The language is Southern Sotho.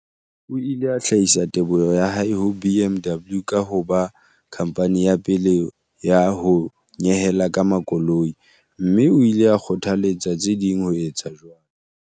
O ile a hlahisa teboho ya hae ho BMW ka ho ba khamphani ya pele ya ho nyehela ka makoloi, mme o ile a kgothaletsa tse ding ho etsa jwalo.